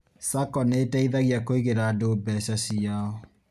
SACCO nĩteithagia kũigĩra andũ mbeca ciao